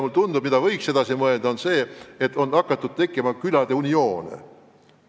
Mulle tundub, et võiks edasi mõelda teemal, et on hakanud tekkima külade unioone.